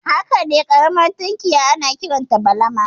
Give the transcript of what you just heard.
Hakane ƙaramar tunkiya ana kiranta balama